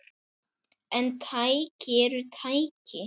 En tæki eru tæki.